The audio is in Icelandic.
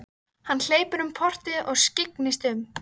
Hann hleypur um portið og skyggnist um.